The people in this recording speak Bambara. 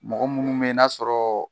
Mɔgɔ munnu be yen n'a sɔrɔ